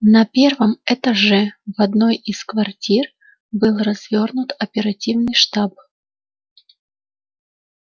на первом этаже в одной из квартир был развернут оперативный штаб